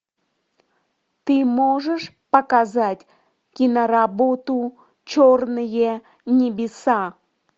ты можешь показать киноработу черные небеса